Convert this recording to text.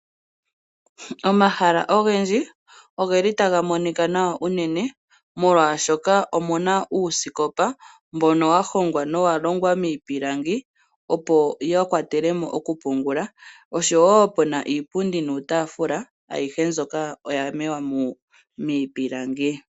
Omahala ogendji ogeli taga monika nawa unene molwashoka omuna uusikopa mbono wahongwa nowalongwa miipilangi, opo yakwatelemo nokupungula osho woo puna iipundi nuutafula ayihe mbyoka oya longwa miipilangi.